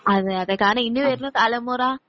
അതെയതെ ഇനി വരുന്ന തലമുറ